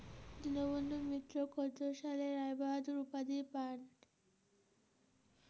দীনবন্ধু মিত্র কত সালে রায়বাহাদুর উপাধি পায়?